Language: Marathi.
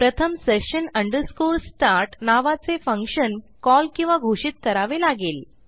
प्रथम session start नावाचे फंक्शन कॉल किंवा घोषित करावे लागेल